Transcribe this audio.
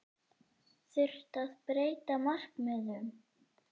Þurfti að breyta markmiðum?